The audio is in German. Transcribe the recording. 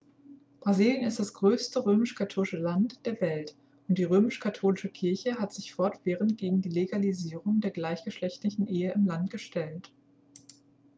brasilien ist das größte römisch-katholische land der welt und die römisch-katholische kirche hat sich fortwährend gegen die legalisierung der gleichgeschlechtlichen ehe im land gestellt